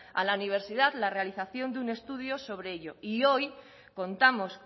a la universidad la realización de un estudio sobre ello y hoy contamos